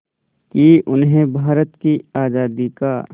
कि उन्हें भारत की आज़ादी का